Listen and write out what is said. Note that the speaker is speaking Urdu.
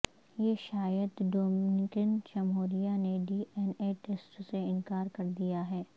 یہ شاید ڈومینیکن جمہوریہ نے ڈی این اے ٹیسٹ سے انکار کر دیا ہے